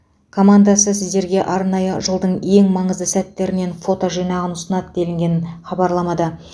командасы сіздерге арнайы жылдың ең маңызды сәттерінен фото жинағын ұсынады делінген хабарламада